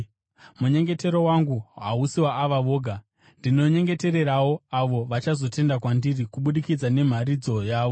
“Munyengetero wangu hausi waava voga. Ndinonyengetererawo avo vachazotenda kwandiri kubudikidza nemharidzo yavo,